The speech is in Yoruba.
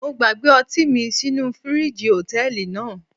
Mo gbàgbé ọtí mi sínú fíríjì Hòtẹ́lìì náà.